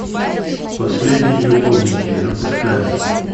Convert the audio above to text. последние любовники запускай